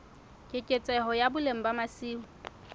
keketseho ya boleng ba masimo